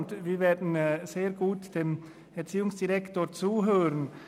Wir werden nun dem Erziehungsdirektor sehr gut zuhören.